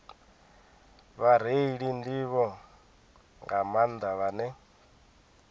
vhareili nḓivho nga maanḓa vhane